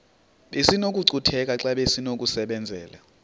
besinokucutheka xa besinokubenzela